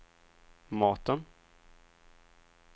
maten